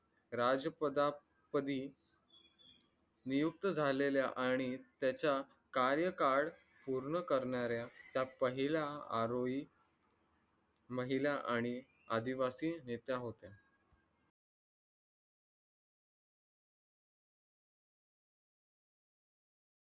राजपदापदी नियुक्त झालेल्या आणि त्याच्या कार्यकार पूर्ण करणाऱ्या त्या पहिला आरोही महिला आणि आदिवासी नेत्या होत्या